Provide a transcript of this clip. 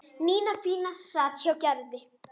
Nína fína sat hjá Gerði.